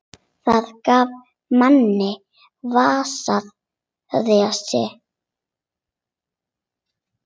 Það gaf manni vissa reisn.